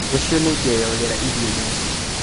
Rũciũ nĩngeoyogera iria-inĩ